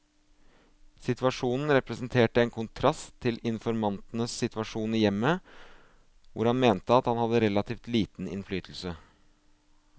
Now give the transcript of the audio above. Situasjonen representerte en kontrast til informantens situasjon i hjemmet, hvor han mente at han hadde relativt liten innflytelse.